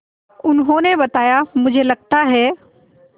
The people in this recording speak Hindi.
उन्होंने बताया मुझे लगता है